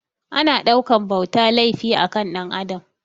Ana ɗaukan bauta laifi a kan Ɗan Adam